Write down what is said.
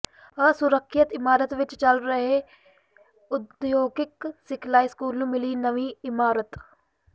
ਅਸੁਰੱਖਿਅਤ ਇਮਾਰਤ ਵਿੱਚ ਚੱਲ ਰਹੇ ਉਦਯੋਗਿਕ ਸਿਖਲਾਈ ਸਕੂਲ ਨੂੰ ਮਿਲੀ ਨਵੀਂ ਇਮਾਰਤ